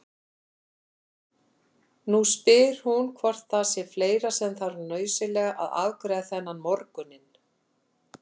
Nú spyr hún hvort það sé fleira sem þarf nauðsynlega að afgreiða þennan morguninn.